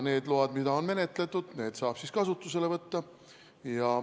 Need load, mida on menetletud, saab siis kasutusele võtta.